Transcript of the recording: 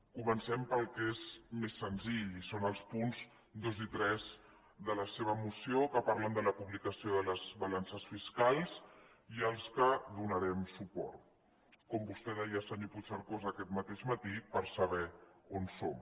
comencem pel que és més senzill i són els punts dos i tres de la seva moció que parlen de la publicació de les balances fiscals i als quals donarem suport com vostè deia senyor puigcercós aquest mateix matí per saber on som